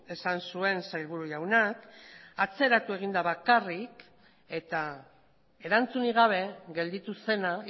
esan zuen sailburu jaunak atzeratu egin da bakarrik eta erantzunik gabe gelditu zena